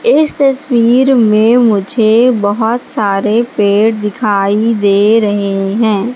इस तस्वीर में मुझे बहोत सारे पेड़ दिखाई दे रहे हैं।